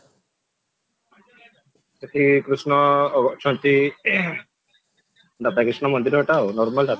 ସେଠି କୃଷ୍ଣ ଅଛନ୍ତି ରାଧାକୃଷ୍ଣ ମନ୍ଦିର ଟା ଆଉ normal